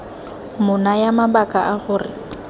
mo naya mabaka a gore